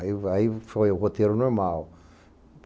Aí vai foi o roteiro normal.